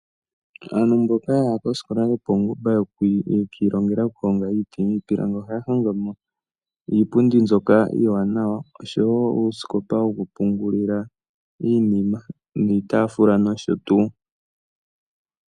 Aantu mboka yaha kosikola yopawungomba yakiilongela okuhonga iiti niipilangi ohaya hongo mo iipundi mbyoka iiwanawa osho wo uusikopa wokupungulila iinima, niitaafula nosho tu.